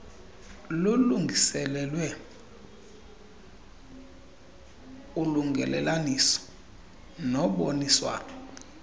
lulungiselelwe ulungelelaniso noboniswano